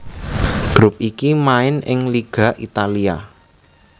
Grup iki main ing Liga Italia